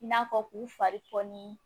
I n'a fɔ k'u fari poni